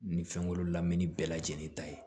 Nin fɛnko lamɛnni bɛɛ lajɛlen ta ye